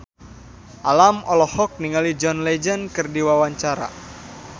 Alam olohok ningali John Legend keur diwawancara